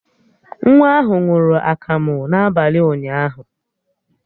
Nwa ahụ ṅụrụ akamụ n'abalị ụnyaahụ